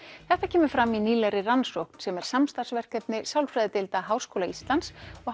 þetta kemur fram í nýlegri rannsókn sem er samstarfsverkefni Háskóla Íslands og